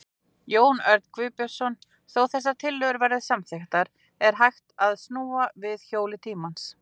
Jón Örn Guðbjartsson: Þó þessar tillögur verði samþykktar, er hægt að snúa við hjóli tímans?